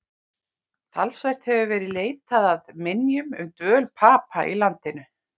Talsvert hefur verið leitað að minjum um dvöl Papa í landinu.